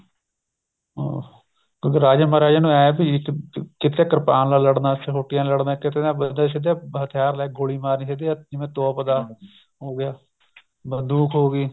ਹਾਂ ਕਿਉਂਕਿ ਰਾਜੇ ਮਹਾਰਾਜੇ ਨੂੰ ਇਹ ਵੀ ਕਿੱਥੇ ਕਿਰਪਾਨ ਨਾਲ ਲੜਣਾ ਸੋਟੀਆਂ ਨਾਲ ਲੜਣਾ ਕਿੱਥੇ ਨਾ ਸਿੱਧੇ ਹਥਿਆਰ ਲੈ ਕੇ ਗੋਲੀ ਮਾਰਨੀ ਕਿੱਥੇ ਏ ਜਿਵੇਂ ਤੋਪ ਦਾ ਹੋਗਿਆ ਬੰਦੂਕ ਹੋ ਗਈ